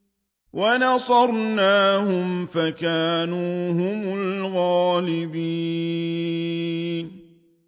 وَنَصَرْنَاهُمْ فَكَانُوا هُمُ الْغَالِبِينَ